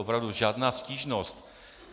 Opravdu, žádná stížnost.